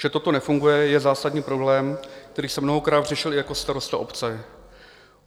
Že toto nefunguje, je zásadní problém, který jsem mnohokrát řešil i jako starosta obce.